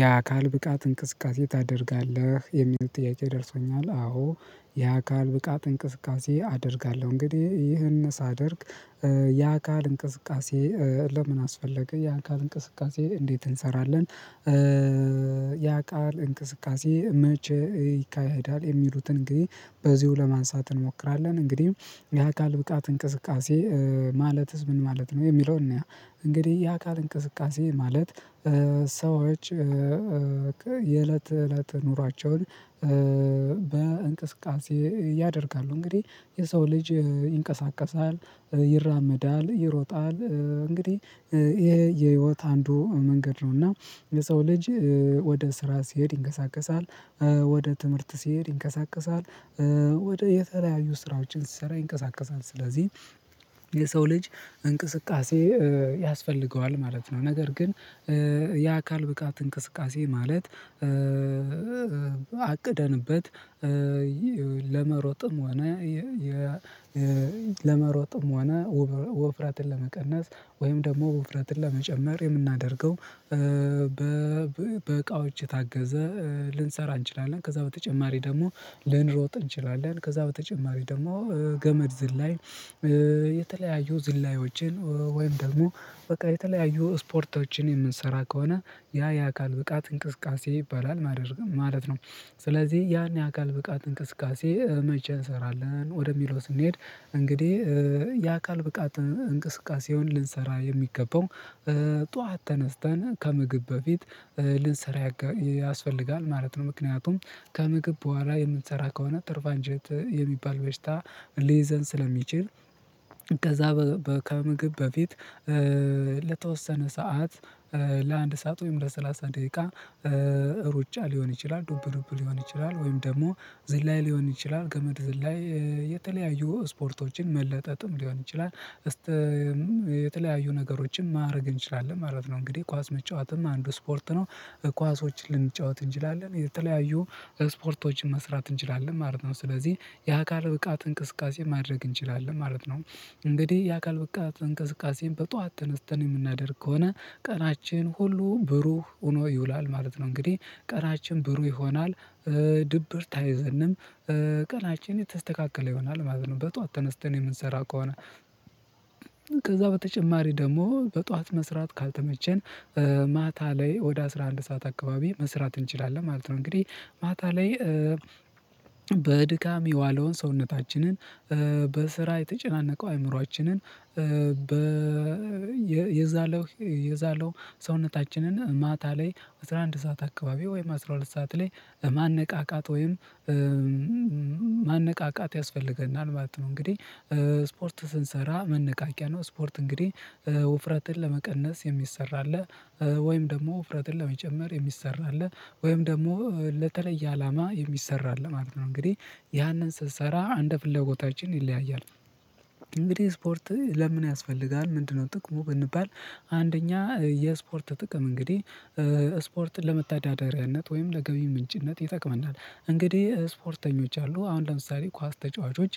ያ አካል ብቃት እንቅስቃሴ ታደርጋለህ የሚሉት ጥያቄ ደርሶኛል አዎ ያ አካል ብቃት እንቅስቃሴ አደርጋለሁ እንግዲህ ይህን ሳደርግ የአካል እንቅስቃሴ ለምን አስፈለገ የአካል እንቅስቃሴ እንዴት እንሰራለን? የአካል እንቅስቃሴ መቼ ይካሄዳል? የሚሉትን እንግዲህ በዚሁ ለማንሳት እንሞክራለን። እንግዲህ የአካል ብቃት እንቅስቃሴ ማለትስ ምን ማለት ነው የሚለውን እንያ? እንግዲህ የአካል እንቅስቃሴ ማለት ሰዎች የእለት እለት ኑሯቸውን በእንቅስቃሴ ያደርጋሉ እንግዲህ የሰው ልጅ ይንቀሳቀሳል ይራመዳል ይሮጣል እንግዲህ ይሄ የህይወት አንዱ መንገድ ነው። እና የሰው ልጅ ወደ ስራ ሲሄድ ይንቀሳቀሳል ወደ ትምህርት ሲሄድ ይንቀሳቀሳል ወደ የተለያዩ ስራዎችን ሲሰራ ይንቀሳቀሳል ስለዚህ የሰው ልጅ እንቅስቃሴ ያስፈልገዋል ማለት ነው። ነገር ግን የአካል ብቃት እንቅስቃሴ ማለት አቅደንበት ለመሮጥም ሆነ የ ለመሮጥም ሆነ ወፍረትን ለመቀነስ ወይም ደግሞ ወፍራትን ለመጨመር የናምደርገው በ እቃዎች የታገዘ ልንሰራ እንችላለን። ከዛ በተጨማሪ ደግሞ ልንሮጥ እንችላለን። ከዛ በተጨማሪ ደግሞ ገመድ ዝላይ የተለያዩ ዝላዮችን ወይም ደግሞ በቃ የተለያዩ ስፖርቶችን የምንሰራ ከሆነ ያ የአካል ብቃት እንቅስቃሴ ይባላል ማድር ነው ማለት ነው። ስለዚህ ያን ያካል ብቃት እንቅስቃሴ መቼ እንሰራለን? ወደሚለው ስንሄድ እንግዲህ የአካል ብቃት እንቅስቃሴውን ልንሰራ የሚገባው ጠዋት ተነስተን ከምግብ በፊት ልንሰራ ያስፈልጋል ማለት ነው። ምክንያቱም ከምግብ በኋላ የምንሰራ ከሆነ ትርፍ አንጀት የሚባል በሽታ ሊይዘን ስለሚችል ከዛ ከምግብ በፊት ለተወሰነ ሰዓት ለአንድ ሰዓት ወይም ለሰላሳ ደቂቃ ሩጫ ሊሆን ይችላል። ዱብ ዱብ ሊሆን ይችላል ወይም ደግሞ ዝላይ ሊሆን ይችላል ገመድ ዝላይ የተለያዩ ስፖርቶችን መለጠጥም ሊሆን ይችላል እስተም የተለያዩ ነገሮችን ማድረግ እንችላለን ማለት ነው። እንግዲህ ኳስ መጫወትም አንዱ ስፖርት ነው። ኳሶችን ልንጫወት እንችላለን የተለያዩ ስፖርቶችን መስራት እንችላለን ማለት ነው። ስለዚህ የአካል ብቃት እንቅስቃሴ ማድረግ እንችላለን ማለት ነው። እንግዲህ የአካል ብቃት እንቅስቃሴን በጧት ተነስተን የምናደርግ ከሆነ ቀናችን ሁሉ ብሩህ ሆኖ ይውላል ማለት ነው። እንግዲህ ቀናችን ብሩ ይሆናል። ድብርት አይዘንም ቀናችን የተስተካከለ ይሆናል ማለት ነው። በጧት ተነስተን የምንሰራ ከሆነ ከዛ በተጨማሪ ደግሞ በጧት መስራት ካልተመቸን ማታ ላይ ወደ አስራ አንድ ሰዓት አካባቢ መስራት እንችላለን ማለት ነው። እንግዲህ ማታ ላይ በድካም የዋለውን ሰውነታችንን በስራ የተጨናነቀው አይምሮአችንን የዛለው የዛለው ሰውነታችንን ማታ ላይ አስራ አንድ ሰዓት አካባቢ ወይም አስራ ሁለት ሰዓት ላይ ማነቃቃት ወይም ማነቃቃት ያስፈልገናል ማለት ነው። እንግዲህ ስፖርት ስንሰራ መነቃቂያ ነው። ስፖርት እንግዲህ ውፍረትን ለመቀነስ የሚሰራ አለ ወይም ደግሞ ውፍረትን ለመጨመር የሚሰራ አለ ወይም ደግሞ ለተለየ አላማ የሚሰራ አለ ማለት ነው። እንግዲህ ያንን ስንሰራራ እንደ ፍለጎታችን ይለያያል። እንግዲህ ስፖርት ለምን ያስፈልጋል ምንድነው ጥቅሙ ብንባል? አንደኛ የስፖርት ጥቅም እንግዲህ ስፖርት ለመታዳደሪያነት ወይም ለገቢ ምንጭነት ይጠቅመናል። እንግዲህ ስፖርተኞች አሉ አሁን ለምሳሌ ኳስ ተጫዋቾች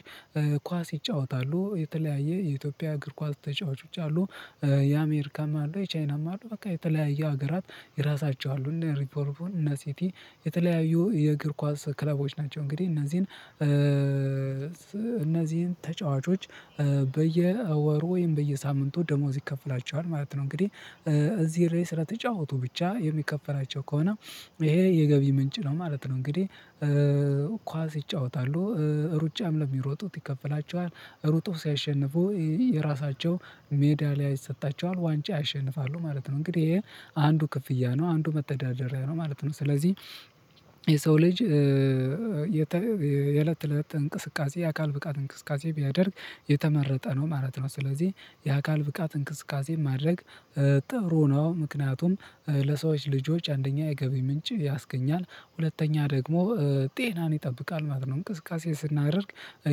ኳስ ይጫወታሉ የተለያየ የኢትዮጵያ እግር ኳስ ተጫዋቾች አሉ የአሜሪካም አሉ የቻይናም አሉ በቃ የተለያየ ሀገራት ይራሳቸው እና ሊቨርፑል እነ ሲቲ የተለያዩ የእግር ኳስ ክለቦች ናቸው። እንግዲህ እነዚህን እነዚህን ተጫዋቾች በየወር ወይም በየሳምንቱ ደሞዝ ይከፍላቸዋል ማለት ነው። እንግዲህ እዚህ ላይ ስለተጫወቱ ብቻ የሚከፈላቸው ከሆነ ይሄ የገቢ ምንጭ ነው ማለት ነው። እንግዲህ ኳስ ይጫወታሉ ሩጫም ለሚሮጡት ይከፈላቸዋል ሩጠው ሲያሸንፉ የራሳቸው ሜዳሊያ ይሰጣቸዋል ዋንጫ ያሸንፋሉ ማለት ነው። እንግዲህ ይሄ አንዱ ክፍያ ነው አንዱ መተዳደሪያ ነው ማለት ነው። ስለዚህ የሰው ልጅ የለት ተእለት እንቅስቃሴ የአካል ብቃት እንቅስቃሴ ቢያደርግ የተመረጠ ነው ማለት ነው። ስለዚህ የአካል ብቃት እንቅስቃሴ ማድረግ ጥሩ ነው። ምክንያቱም ለሰዎች ልጆች አንደኛ የገቢ ምንጭ ያስገኛል ሁለተኛ ደግሞ ጤናን ይጠብቃል ማለት ነው። እንቅስቃሴ ስናደርግ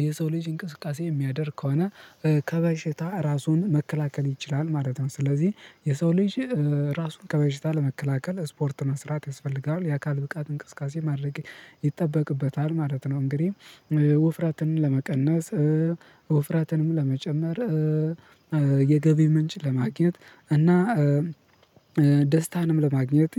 የሰው ልጅ እንቅስቃሴ የሚያደርግ ከሆነ ከበሽታ ራሱን መከላከል ይችላል ማለት ነው። ስለዚህ የሰው ልጅ ራሱን ከበሽታ ለመከላከል ስፖርት መስራት ያስፈልጋል የአካል ብቃት እንቅስቃሴ ማድረግ ይጠበቅበታል ማለት ነው። እንግዲህ ወፍራትን ለመቀነስ ወፍረትንም ለመጨመር የገቢ ምንጭ ለማግኘት እና ደስታንም ለማግኘት